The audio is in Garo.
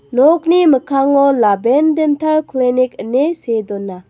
noki mikkango laben dental klinik ine see dona.